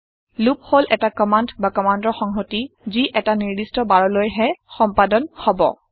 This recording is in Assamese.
লুপ হল এটা কমাণ্ড বা কমাণ্ডৰ সংহতি যি এটা নিৰ্দিষ্ট বাৰলৈ হে সম্পাদন হব